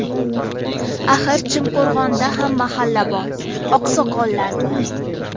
Axir Chimqo‘rg‘onda ham mahalla bor, oqsoqollar bor.